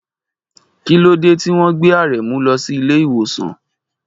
Kí ló dé tí wọ́n gbé Aremu lọ sí ilé ìwòsàn?